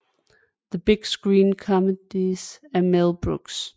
The Big Screen Comedies of Mel Brooks